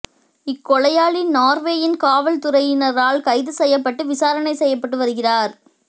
இக்கொலையாளி நோர்வேயின் காவல்துறையினரினால் கைது செய்யப்பட்டு விசாரணை செய்யப்பட்டு வருகிறார்